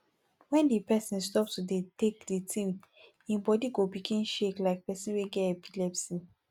when di person stop to dey take di thing im body go begin shake like person wey get epilepsy